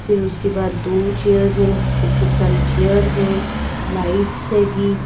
फिर उसके बाद दो चेयर जिसपे खूब सारी चेयर है। लाइट्स से जी--